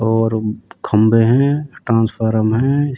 और उ-ब्-खम्बे हैं ट्रांसफरम हैं।